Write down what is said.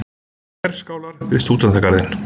Herskálar við Stúdentagarðinn.